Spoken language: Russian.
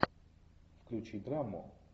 включи драму